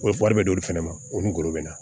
U bɛ wari bɛ d'olu fɛnɛ ma o ni golo bɛ na